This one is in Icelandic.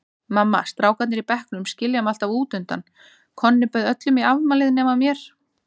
Mamma, strákarnir í bekknum skilja mig alltaf útundan, Konni bauð öllum í afmælið nema mér.